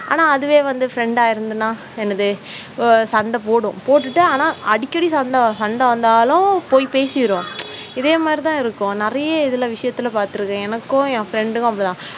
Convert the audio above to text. ஆனா அதுவே வந்து friend இருந்ததினால் என்ன செய்வது சண்டை போடும் போட்டுட்டு, ஆனா அடிக்கடி சண்டை சண்டை வந்தாலும் போய் பேசி விடுவோம். இதே மாதிரி தான் இருக்கும் நிறைய இதுல விஷயத்துல பார்த்திருக்கிறேன் என்று எனக்கும் என் friend க்கு அப்படி தான்